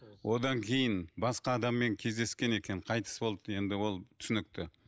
одан кейін басқа адаммен кездескен екен қайтыс болды енді ол түсінікті